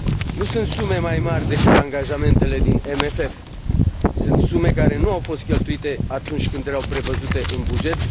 Nu sunt sume mai mari decât angajamentele din CFM, sunt sume care nu au fost cheltuite atunci când erau prevăzute în buget